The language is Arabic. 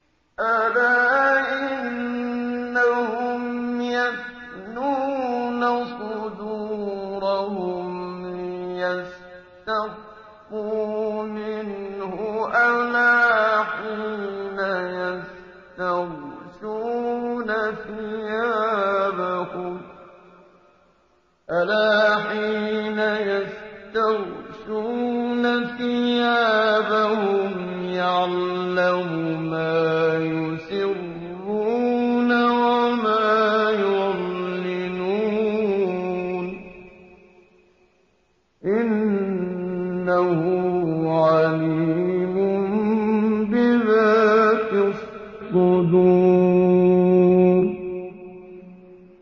أَلَا إِنَّهُمْ يَثْنُونَ صُدُورَهُمْ لِيَسْتَخْفُوا مِنْهُ ۚ أَلَا حِينَ يَسْتَغْشُونَ ثِيَابَهُمْ يَعْلَمُ مَا يُسِرُّونَ وَمَا يُعْلِنُونَ ۚ إِنَّهُ عَلِيمٌ بِذَاتِ الصُّدُورِ